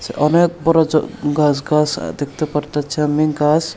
অনেক বড় জ গাছ গাছ দেখতে পারতাছি আমি গাছ।